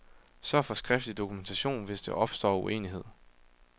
Sørg for skriftlig dokumentation, hvis der opstår uenighed.